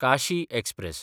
Kashi express